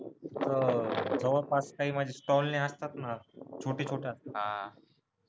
अह जवळ पास काही म्हणजे असतात ना छोटी छोटी